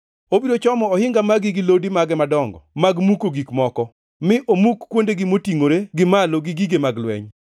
Obiro chomo ohinga magi gi lodi mage madongo mag muko gik moko, mi omuk kuondegi motingʼore gi malo gi gige mag lweny.